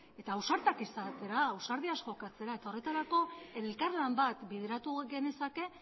eta ausartak izatera ausardiaz jokatzera eta horretarako elkarlan bat bideratu genezake